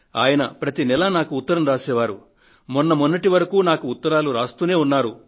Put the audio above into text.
ఆయన ప్రతి నెలా నాకు ఉత్తరం రాసే వారు మొన్నటి మొన్నటి వరకు నాకు ఉత్తరాలు రాస్తూనే ఉన్నారు